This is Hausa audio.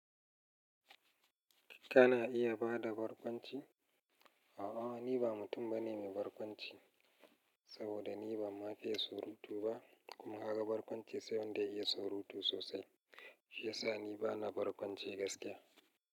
Kana iya bada barkwanci? A'a, ni ba mutum bane mai barkwanci, saboda ni ba ma fiye surutu ba, kuma gaka barkwanci sai wanda ya iya surutu sosai. Shi ya sa ni bana barkwanci gaskiya.